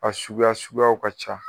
A suguya suguyaw ka ca.